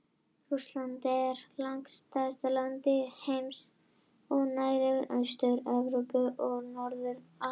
Rússland er langstærsta land heims og nær yfir Austur-Evrópu og Norður-Asíu.